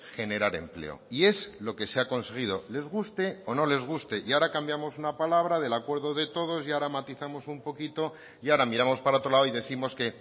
generar empleo y es lo que se ha conseguido les guste o no les guste y ahora cambiamos una palabra del acuerdo de todos y ahora matizamos un poquito y ahora miramos para otro lado y décimos que